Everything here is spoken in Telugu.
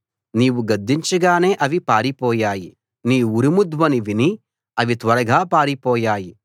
నీవు గద్దించగానే అవి పారిపోయాయి నీ ఉరుము ధ్వని విని అవి త్వరగా పారిపోయాయి